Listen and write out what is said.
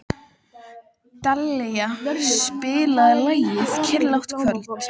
Dallilja, spilaðu lagið „Kyrrlátt kvöld“.